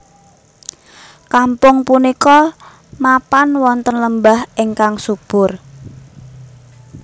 Kampung punika mapan wonten lembah ingkang subur